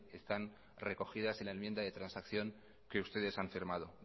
están recogidas en la enmienda de transacción que ustedes han firmado